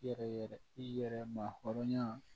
I yɛrɛ i yɛrɛ mahɔrɔnya